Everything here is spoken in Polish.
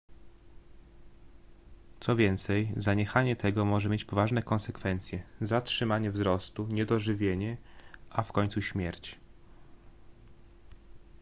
co więcej zaniechanie tego może mieć poważne konsekwencje zatrzymanie wzrostu niedożywienie a w końcu śmierć